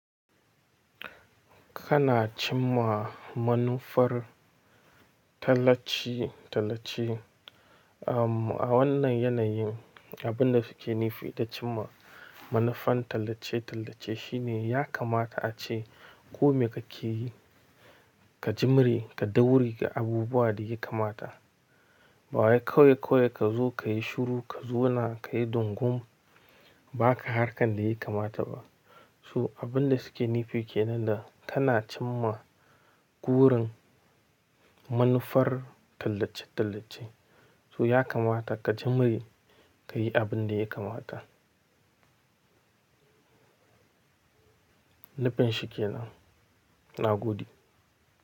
Kana cimma manufar tallace-tallace. Am, a wannan yanayin, abin da suke nufi da cimma manufan tallace-tallace shine ya kamata ace kome kake yi, ka jimre, ka daure abubuwa da yake kamata. Ba wai kawai kawai ka zo ka yi shuru, ka zo na ka yi dungum, ba ka harkar da yake kamata ba. Su abin da suke nufi ke nan da kana cimma gurin manufar tallace-tallace. Su ya kamata ka jimre ka yi abin da yake kamata. Nufin su ke nan, na gode.